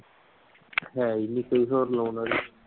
ਹੈ ਹੀ ਨਹੀਂ ਕੋਈ ਹੋਰ ਲਾਉਣ ਵਾਲੀ।